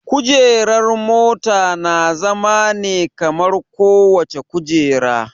Kujerar mota na zama ne kamar kowace kujera